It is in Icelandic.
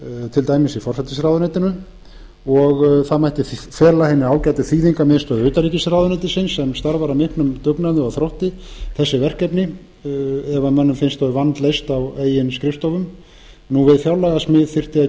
til dæmis í forsætisráðuneytinu og það mætti fela hinni ágætu þýðingamiðstöð utanríkisráðuneytisins sem starfar af miklum dugnaði og þrótti þessi verkefni ef mönnum finnst þau vandleyst á eigin skrifstofum við fjárlagasmíð þyrfti að